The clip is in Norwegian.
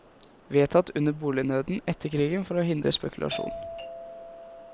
Vedtatt under bolignøden etter krigen for å hindre spekulasjon.